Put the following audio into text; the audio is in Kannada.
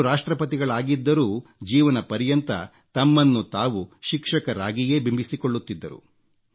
ಅವರು ರಾಷ್ಟ್ರಪತಿಗಳಾಗಿದ್ದರೂ ಜೀವನಪರ್ಯಂತ ತಮ್ಮನ್ನು ತಾವು ಶಿಕ್ಷಕರಾಗಿಯೇ ಬಿಂಬಿಸಿಕೊಳ್ಳುತ್ತಿದ್ದರು